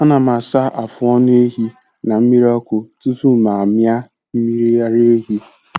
Ana m asa afụ ọnụ ehi na mmiri ọkụ tupu m amịa mmiri ara ehi.